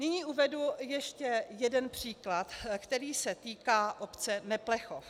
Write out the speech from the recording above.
Nyní uvedu ještě jeden příklad, který se týká obce Neplechov.